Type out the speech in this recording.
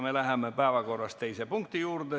Me läheme päevakorra teise punkti juurde.